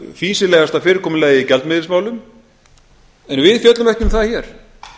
fýsilegasta fyrirkomulagið í gjaldmiðilsmálum en við fjöllum ekki um það hér